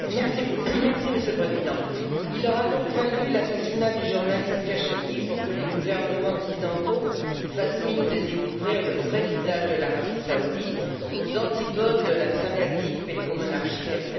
Monsieur le Président, il aura donc fallu l'assassinat du journaliste Khashogghi pour que les gouvernements occidentaux fassent mine de découvrir le vrai visage de l'Arabie Saoudite, aux antipodes de la sympathique pétromonarchie qu'elle prétend être.